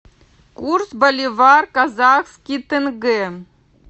курс боливар казахский тенге